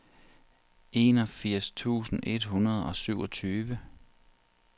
enogfirs tusind et hundrede og syvogtyve